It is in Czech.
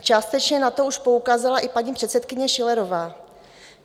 Částečně na to už poukázala i paní předsedkyně Schillerová.